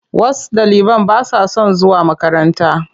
Wash ɗaliban ba sa son zuwa makaranta.